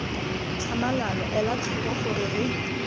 tlhamalalo ela tlhoko gore re